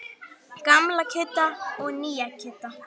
Gamla Kidda og nýja Kidda.